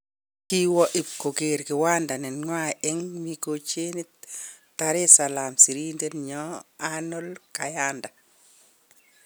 Kowo ib kogeer kiwanda nenywa eng Mikocheni Dar es alaam sirindet nyo Arnold Kayanda